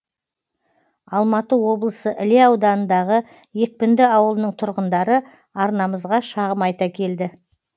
алматы облысы іле ауданындағы екпінді ауылының тұрғындары арнамызға шағым айта келді